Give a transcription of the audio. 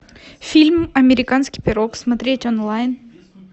фильм американский пирог смотреть онлайн